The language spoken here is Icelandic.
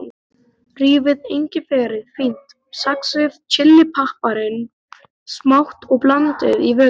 Rífið engiferið fínt, saxið chilipiparinn smátt og blandið í vökvann.